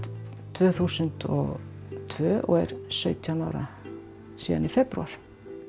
tvö þúsund og tvö og er sautján ára síðan í febrúar